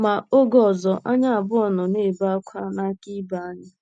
Ma, oge ọzọ anyị abụọ nọ na-ebe ákwá n'aka ibe anyị.